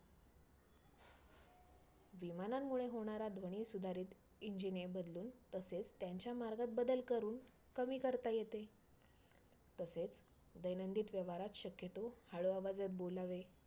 आठ टीम तर तर त्याच्यामध्ये सगळ्यात माझी पहिली आवडती team म्हणजे मुंबई Indians पण त्यावरची मुंबई Indians लाईनी मध्ये~